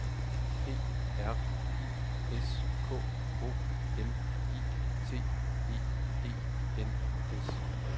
P R I S K O M I T E E N S